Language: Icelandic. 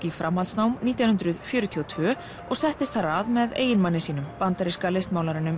í framhaldsnám nítján hundruð fjörutíu og tvö og settist þar að með eiginmanni sínum bandaríska